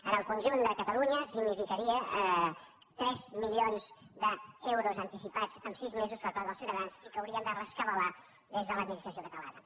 en el conjunt de catalunya significarien tres milions d’euros anticipats en sis mesos per part dels ciutadans i que haurien de rescabalar des de l’administració catalana